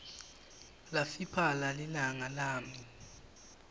lafiphala lilanga lami